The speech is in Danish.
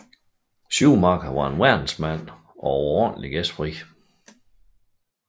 Schumacher var en verdensmand og overordentlig gæstfri